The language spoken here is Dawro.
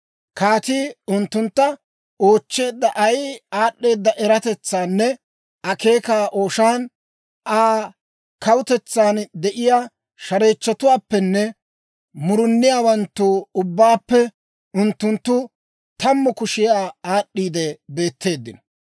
Kaatii unttuntta oochcheedda ay aad'd'eeda eratetsaanne akeeka ooshaan, Aa kawutetsan de'iyaa shareechchotuwaappenne muruniyaawanttu ubbaappe unttunttu tammu kushiyaa aad'd'iide beetteeddino.